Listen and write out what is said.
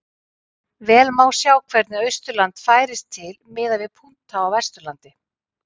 Vel má sjá hvernig Austurland færist til miðað við punkta á Vesturlandi.